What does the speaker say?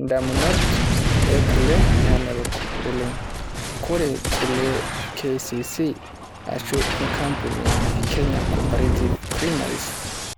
Indamunot e kule namelok oleng. Kore kule e KCC ashu enkampuni e Kenya Cooperative Creameries,